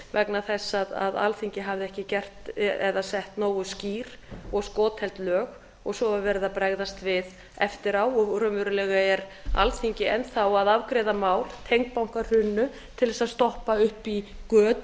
vegna þess að alþingi hafði ekki sett nógu skýr og skotheld lög á svo er verið að bregðast við eftir á og raunverulega er alþingi enn þá að afgreiða mál tengd bankahruninu til að stoppa upp í göt